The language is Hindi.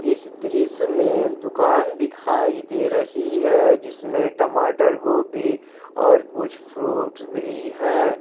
इस दृश्य में दुकान दिखाई दे रही है जिसमें टमाटर गोभी और कुछ फ्रूट भी है।